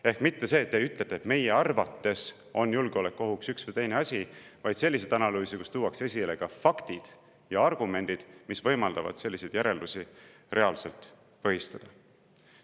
Ehk mitte nii, et te ütlete, et teie arvates on julgeolekuohuks üks või teine asi, vaid selliseid analüüse, kus tuuakse esile ka faktid ja argumendid, mis võimaldavad selliseid järeldusi reaalselt põhistada.